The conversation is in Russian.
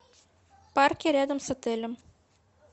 парки рядом с отелем